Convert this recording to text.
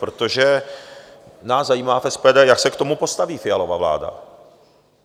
Protože nás zajímá v SPD, jak se k tomu postaví Fialova vláda.